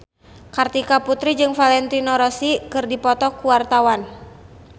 Kartika Putri jeung Valentino Rossi keur dipoto ku wartawan